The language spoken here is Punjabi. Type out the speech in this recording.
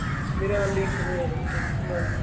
ਮੇਰਾ link ਹੋਇਆ ਵਾਂ bank ਦੇ ਨਾਲ ਵੀ